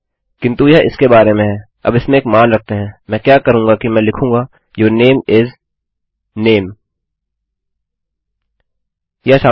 किन्तु यह इसके बारे में हैअब इसमें एक मान रखते हैंमैं क्या करूँगा कि मैं लिखूँगा यूर नामे इस नामे